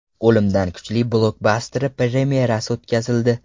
O‘limdan kuchli” blokbasteri premyerasi o‘tkazildi .